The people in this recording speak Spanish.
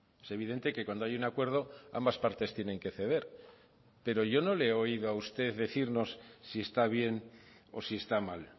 es evidente que cuando hay un acuerdo ambas partes tienen que ceder pero yo no le he oído a usted decirnos si está bien o si está mal